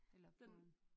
Eller på en